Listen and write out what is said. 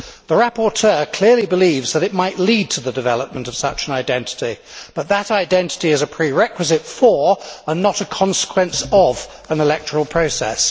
The rapporteur clearly believes that it might lead to the development of such an identity, but that identity is a prerequisite for, and not a consequence of, an electoral process.